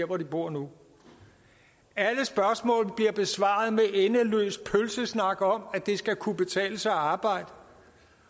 hvor de bor nu alle spørgsmål bliver besvaret med endeløs pølsesnak om at det skal kunne betale sig at arbejde